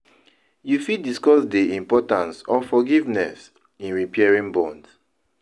you fit discuss dey importance of forgiveness in repairing bonds?